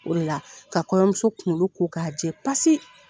O de la ka kɔɲɔmuso kunkolo ko k'a jɛ pasi.